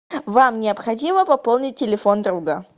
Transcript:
вам необходимо пополнить телефон друга